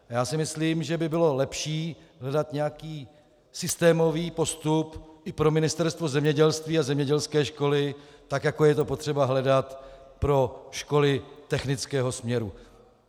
Já si myslím, že by bylo lepší hledat nějaký systémový postup i pro Ministerstvo zemědělství a zemědělské školy, tak jako je to potřeba hledat pro školy technického směru.